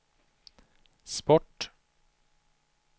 sport